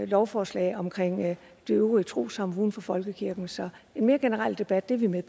lovforslag omkring de øvrige trossamfund uden for folkekirken så en mere generel debat er vi med